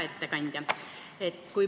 Hea ettekandja!